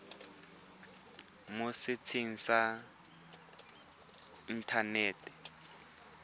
mo setsheng sa inthanete sa